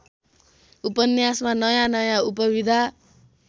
उपन्यासमा नयाँनयाँ उपविधा